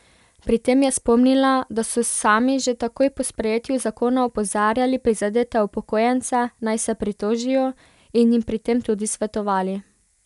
Pri tem je spomnila, da so sami že takoj po sprejetju zakona opozarjali prizadete upokojence, naj se pritožijo, in jim pri tem tudi svetovali.